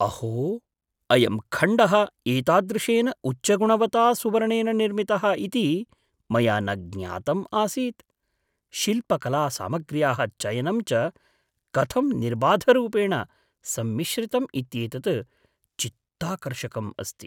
अहो, अयं खण्डः एतादृशेन उच्चगुणवता सुवर्णेन निर्मितः इति मया न ज्ञातम् आसीत्, शिल्पकलासामग्र्याः चयनं च कथं निर्बाधरूपेण सम्मिश्रितम् इत्येतत् चित्ताकर्षकम् अस्ति।